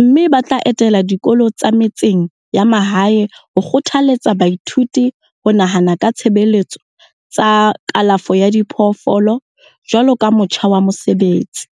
mme bo tla etela dikolo tsa metseng ya mahae ho kgothaletsa baithuti ho nahana ka ditshebeletso tsa kalafo ya diphoofolo jwaloka motjha wa mosebetsi.